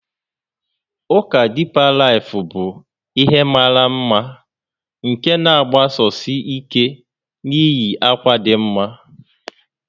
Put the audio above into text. Ụka Deeper Life bụ ihe mara mma nke na-agbasosi ike na iyi akwa dị mma